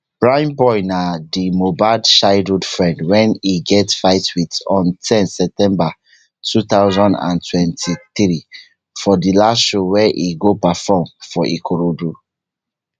primeboy na di mohbad childhood friend wey e get fight wit on ten september two thousand and twenty-three for di last show wey e go perform for ikorodu